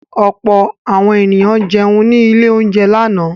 Ọ̀pọ̀ àwọn ènìyàn jẹun ní ilé-oúnjẹ lánàá.